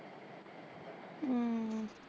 ਅਮ